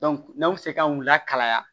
n'aw bɛ se kanu lakalaya